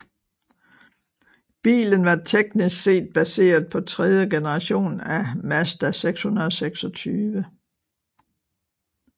Bilen var teknisk set baseret på tredje generation af Mazda 626